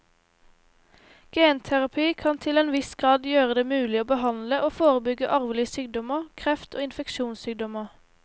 Genterapi kan til en viss grad gjøre det mulig å behandle og forebygge arvelige sykdommer, kreft og infeksjonssykdommer.